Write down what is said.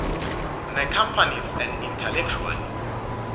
necompanies and intellectual